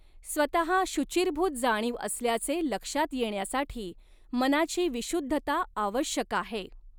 स्वतहा शुचिर्भूत जाणीव असल्याचे लक्षात येण्यासाठी, मनाची विशुद्धता आवश्यक आहे.